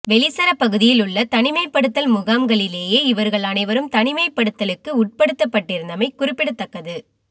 வெலிசர பகுதியில் உள்ள தனிமைப்படுத்தல் முகாம்களிலேயே இவர்கள் அனைவரும் தனிமைப்படுத்தலுக்கு உட்படுத்தப்பட்டிருந்தமை குறிப்பிடத்தக்கது